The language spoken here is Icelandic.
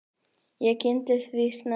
Ég kynntist því snemma.